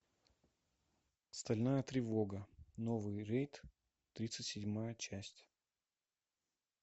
стальная тревога новый рейд тридцать седьмая часть